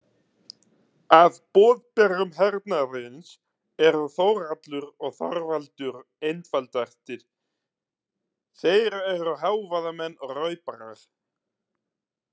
Af boðberum hernaðarins eru Þórhallur og Þorvaldur einfaldastir, þeir eru hávaðamenn og rauparar.